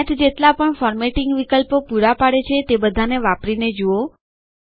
math જેટલા પણ formatting વિકલ્પો પુરા પાડે છે તે બધાને વાપરીને જુઓ